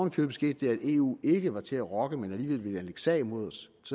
i købet skete det at eu ikke var til at rokke men alligevel ville anlægge sag mod os